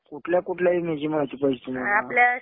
कुठल्या कुठल्या विम्याची माहिती पाहिजे तुम्हाला?